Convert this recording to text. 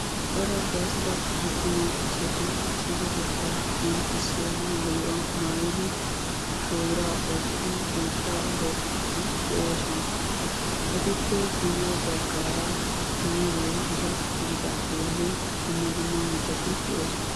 cor agastta attuma asati issippeteta qonccissiya maayuwaa maayyidi shoddira oyqqidi biittaa bookide de'oosona; etuppe guyye baggara muuze gita gididagenne dumma dumma mittati de'oosona